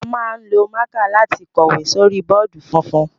A máa ń lo mạ̀kạ lati kọ̀wé sórí bọọdi funfun.